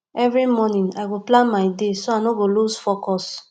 every morning i go plan my day so i no go lose focus